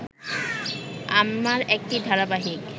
আমার একটি ধারাবাহিক